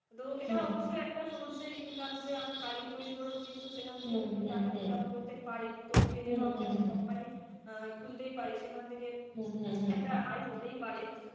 তো এটা অবশ্যই একটা source এর income যে আমরা কালি তৈরি করেও কিন্তু সেখান থেকেও কিন্তু টাকা ইনকাম করতে পারি, তো পেনেরও আমরা একটা company আহ খুলতেই পারি সেখান থেকে হুঁ, হুঁ, হুঁ, একটা আয় হতেই পারে,